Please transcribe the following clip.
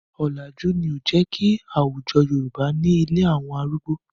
Ọ̀làjú ni ó jẹ́ kí àwújọ Yorùbá ní ilé àwọn arúgbó.